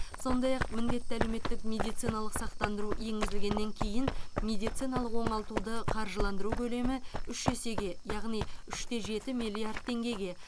сондай ақ міндетті әлеуметтік медициналық сақтандыру енгізілгеннен кейін медициналық оңалтуды қаржыландыру көлемі үш есеге яғни үш те жеті миллиард теңгеге